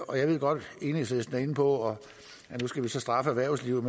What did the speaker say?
og jeg ved godt at enhedslisten er inde på at nu skal vi så straffe erhvervslivet